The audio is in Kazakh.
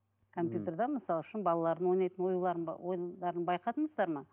ммм компьютерде мысалы үшін балалардың ойнайтын оюларын ойындарын байқадыңыздар ма